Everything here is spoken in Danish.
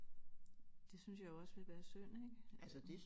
Det synes jeg jo også vi være synd ikke øh